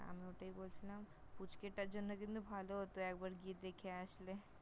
আমি ওটাই বলছিলাম, পুচকে টার জন্য কিন্তু ভালো হতো একবার গিয়ে দেখে আসলে